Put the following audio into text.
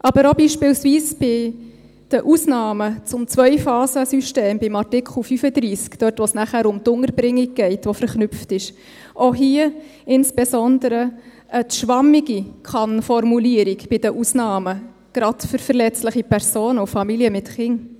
Aber auch beispielsweise bei den Ausnahmen zum Zweiphasensystem, bei Artikel 35, dort, wo es nachher um die Unterbringung geht, die verknüpft ist, auch hier insbesondere eine zu schwammige Kann-Formulierung bei den Ausnahmen, gerade für verletzliche Personen und Familien mit Kindern.